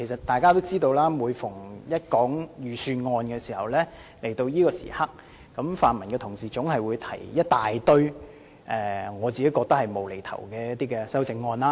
大家也知道，每年到了財政預算案的辯論環節，泛民議員總會提出大量我認為是"無厘頭"的修正案。